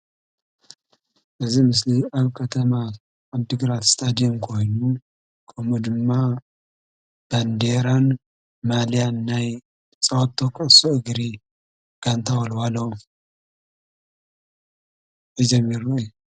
እዚ ምስሊ ኣብ ከተማ ዓዲግራት እስታድየም ኮይኑ ከምኡ ድማ ባንዴራን ማልያን ና ተፃወቶ ኩዕሶ እግሪ ጋንታ ወለዋሎ ሒዞም ይራኣዩ::